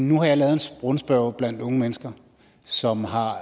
nu har jeg lavet en rundspørge blandt unge mennesker som har